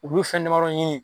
Olu fɛn damadɔ ɲini